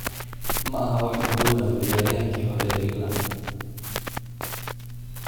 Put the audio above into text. Ma aha waxa uu doonayo ciyaaryahankii hore ee England.